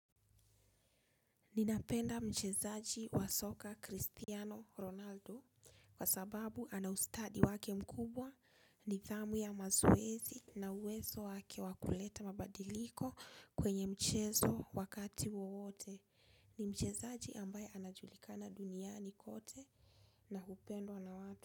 Ninapenda mchezaji wa soka Christiano Ronaldo kwa sababu ana ustadi wake mkubwa nidhamu ya mazoezi na uwezo wake wa kuleta mabadiliko kwenye mchezo wakati wowote. Ni mchezaji ambaye anajulikana duniani kote na hupendwa na watu.